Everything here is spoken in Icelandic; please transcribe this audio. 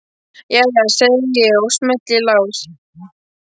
Jæja, segi ég og smelli í lás.